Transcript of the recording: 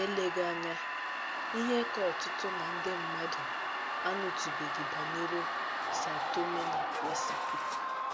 ELEGHỊ anya, ihe ka ọtụtụ ná ndị mmadụ anụtụbeghị banyere São Tomé na Príncipe.